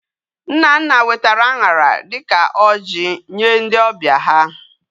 Nnanna wetara añara dika oji Nye ndi obia ha